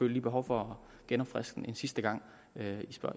lige behov for at genopfriske den en sidste gang